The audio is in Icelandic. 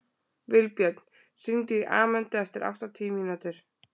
Vilbjörn, hringdu í Amöndu eftir áttatíu mínútur.